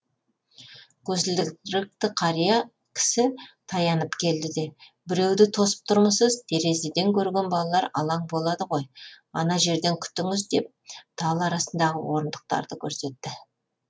көзілдірікті қария кісі таянып келді де біреуді тосып тұрмысыз терезеден көрген балалар алаң болады ғой ана жерден күтіңіз деп тал арасындағы орындықтарды көрсетті